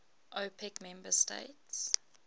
opec member states